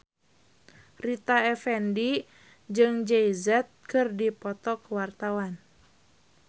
Rita Effendy jeung Jay Z keur dipoto ku wartawan